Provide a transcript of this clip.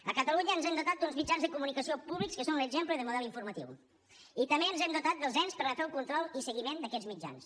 a catalunya ens hem dotat d’uns mitjans de comunicació públics que són un exemple de model informatiu i també ens hem dotat dels ens per a fer el control i seguiment d’aquests mitjans